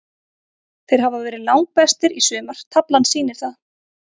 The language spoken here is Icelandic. Þeir hafa verið langbestir í sumar, taflan sýnir það.